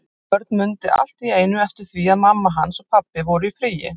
Örn mundi allt í einu eftir því að mamma hans og pabbi voru í fríi.